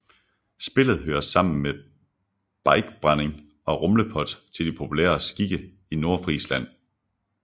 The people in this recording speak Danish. Spillet hører sammen med biikebrænding og rummelpot til de populære skikke i Nordfrisland